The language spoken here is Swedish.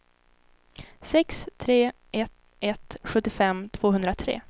sex tre ett ett sjuttiofem tvåhundratre